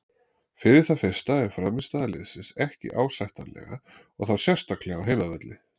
Fyrir það fyrsta er frammistaða liðsins ekki ásættanlega og þá sérstaklega á heimavelli.